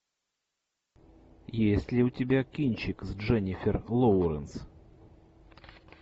есть ли у тебя кинчик с дженнифер лоуренс